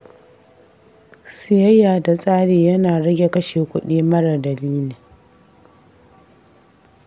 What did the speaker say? Siyayya da tsari ya na rage kashe kuɗi mara dalili.